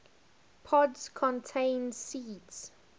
pods contain seeds